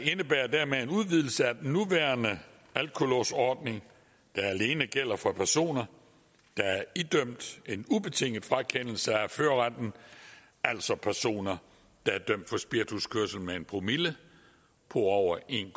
indebærer dermed en udvidelse af den nuværende alkolåsordning der alene gælder for personer der er idømt en ubetinget frakendelse af førerretten altså personer der er dømt for spirituskørsel med en promille på over en